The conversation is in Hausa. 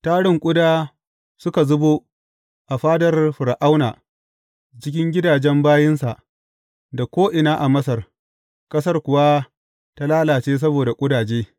Tarin ƙuda suka zubo a fadar Fir’auna da cikin gidajen bayinsa, da ko’ina a Masar, ƙasar kuwa ta lalace saboda ƙudaje.